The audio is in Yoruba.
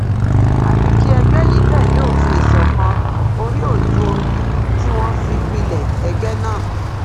àfi kí ẹgbẹ yìí tẹlé òfin ìṣọkan oríòjùorí tí wọn fi pilẹ ẹgbẹ náà